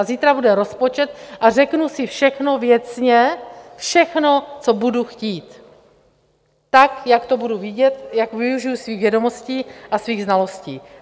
A zítra bude rozpočet a řeknu si všechno, věcně, všechno, co budu chtít, tak, jak to budu vidět, jak využiji svých vědomostí a svých znalostí.